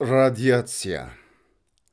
радиация